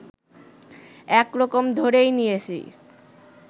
একরকম ধরেই নিয়েছে